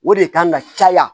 O de kan ka caya